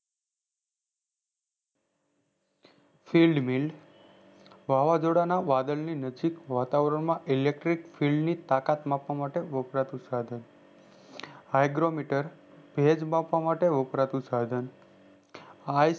hadge built વાવાજોડા ના વાદળની નજીક વાતાવણ માં electric field તાકાત માપવા માટે વપરાતું સાઘન agrometer તેજ માપવા માટે વપરાતું સાઘન આજ